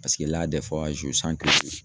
Paseke